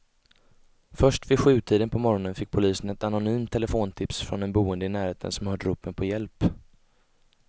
Först vid sjutiden på morgonen fick polisen ett anonymt telefontips från en boende i närheten som hört ropen på hjälp.